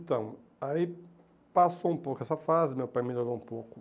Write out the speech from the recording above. Então, aí passou um pouco essa fase, meu pai melhorou um pouco,